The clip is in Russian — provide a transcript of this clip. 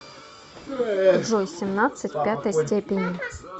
джой семнадцать в пятой степени